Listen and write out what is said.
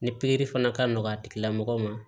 Ni pikiri fana ka nɔgɔ a tigilamɔgɔw ma